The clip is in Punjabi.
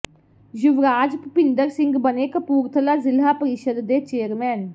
ਯੁਵਰਾਜ ਭੁਪਿੰਦਰ ਸਿੰਘ ਬਣੇ ਕਪੂਰਥਲਾ ਜਿਲ੍ਹਾ ਪਰਿਸ਼ਦ ਦੇ ਚੇਅਰਮੈਨ